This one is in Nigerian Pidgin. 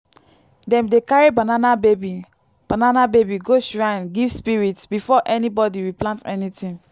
dem dey carry banana baby banana baby go shrine give spirits before anybody replant anything.